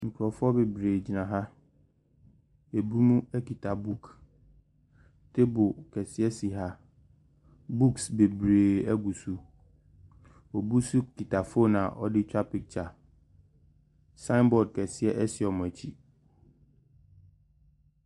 Nkurɔfoɔ bebree gyina ha. Ebinom kita book. Table kɛseɛ si ha. Books bebree gu so. Obi nso kita foonu a ɔde retwa pikya. Sign board kɛseɛ si wɔn akyi.